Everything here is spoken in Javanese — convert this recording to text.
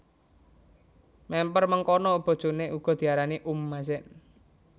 Mèmper mengkono bojoné uga diarani Umm Mazen